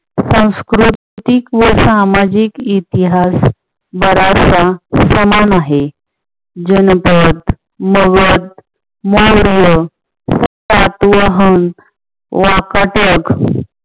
सांस्कृतिक व सामाजिक इतिहास जरासा समान आहे. जनपद, मगध, मौर्य, सातवहन, वाकाटक